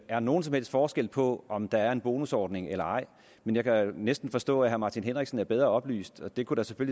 er nogen som helst forskel på om der er en bonusordning eller ej men jeg kan næsten forstå at herre martin henriksen er bedre oplyst og det kunne da